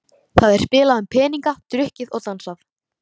Það er spilað um peninga, drukkið og dansað.